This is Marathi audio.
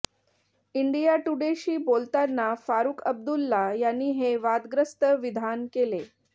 इंडिया टुडेशी बोलताना फारुख अब्दुल्ला यांनी हे वादग्रस्त विधान केले